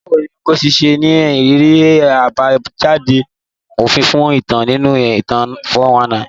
Báwo ni Ngozi ṣe ní ìrírí àbájáde òfin fún ẹ̀tàn nínú ẹ̀tàn 419?